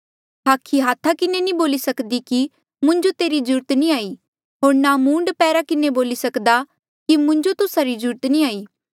हाखी हाथा किन्हें नी बोली सक्दी कि मुंजो तेरी ज्रूरत नी हाई होर ना मूंड पैरा किन्हें बोली सक्हा कि मुंजो तुस्सा री ज्रूरत नी हाई